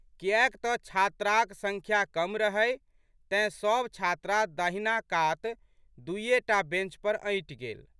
कियैक तऽ छात्राक संख्या कम रहै तें, सब छात्रा दाहिना कातक दुइये टा बेंच पर अँटि गेल।